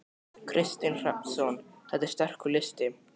Kristinn Hrafnsson: Þetta er sterkur listi?